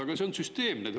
Aga see on süsteemne.